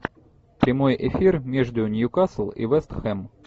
прямой эфир между ньюкасл и вест хэм